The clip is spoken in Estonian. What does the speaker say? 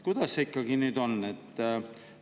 Kuidas sellega siis ikkagi on?